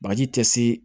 Bagaji tɛ se